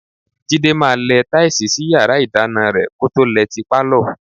Jídé máa lẹ táìsì sí yàrá ìdáná rẹ kó tó lẹ ti pálọ̀.